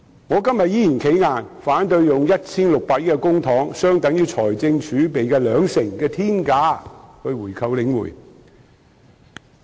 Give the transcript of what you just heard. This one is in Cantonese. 我今天依然"企硬"，反對以 1,600 億元公帑——相等於財政儲備的兩成——的天價購回領展。